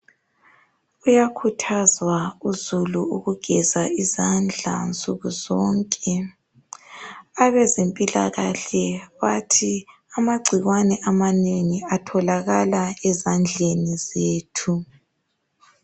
Uyakhuthazwa uzulu ukugeza izandla nsukuzonke abezempilakahle bathi amangcikwane amanengi atholakala ezandleni zethu